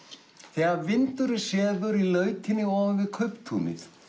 þegar vindurinn sefur í lautinni ofan við kauptúnið